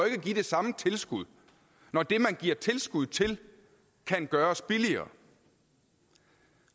ikke at give det samme tilskud når det man giver tilskud til kan gøres billigere